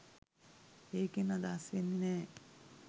ඒකෙන් අදහස් වෙන්නෙ නෑ